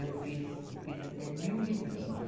Eu fiz, eu fiz até mil livrinhos.